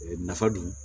Nafa dun